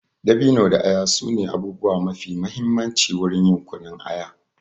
Dabino da aya su ne abubuwa mafi mahimmanci wurin yin kunun aya.